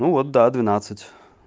ну вот да двенадцать